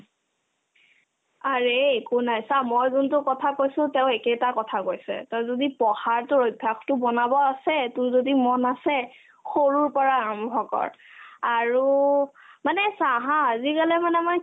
aare একো নাই চা মই যোনতো কথা কৈছো তেওঁ একেটা কথা কৈছে to যদি পঢ়াতোৰ অভ্যাসতো বনাব আছে তোৰ যদি মন আছে সৰুৰ পৰা আৰম্ভ কৰ আৰু মানে চা haa আজিকালি মানে মই